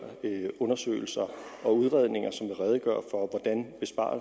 undersøgelser og udredninger